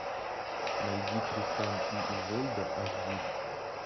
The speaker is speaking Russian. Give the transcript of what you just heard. найди тристан и изольда аш ди